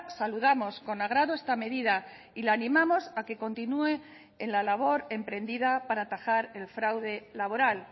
saludamos con agrado esta medida y la animamos a que continúe en la labor emprendida para atajar el fraude laboral